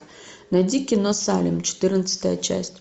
найди кино салем четырнадцатая часть